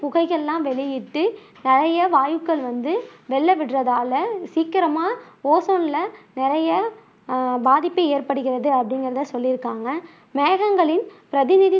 புகைகள் எல்லாம் வெளியிட்டு நிறைய வாயுக்கள் வந்து வெளிய விடுறதால சீக்கிரமா ஓசோன்ல நிறைய அஹ் பாத்திப்ப ஏற்படுகிறது அப்படின்னு வந்து சொல்லியிருக்காங்க மேகங்களின் பிரதிநிதி